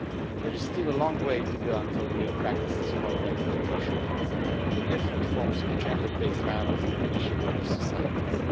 There is still a long way to go until real practices follow ratification acts and the different forms of gender based violence diminish in our societies.